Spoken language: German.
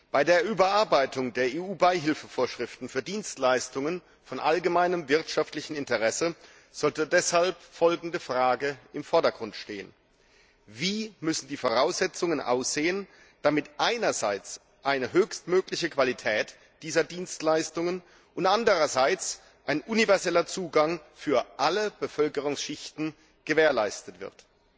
Bei der Überarbeitung der EU Beihilfevorschriften für Dienstleistungen von allgemeinem wirtschaftlichem Interesse sollte deshalb folgende Frage im Vordergrund stehen Wie müssen die Voraussetzungen aussehen, damit einerseits eine höchstmögliche Qualität dieser Dienstleistungen und andererseits ein universeller Zugang für alle Bevölkerungsschichten gewährleistet wird?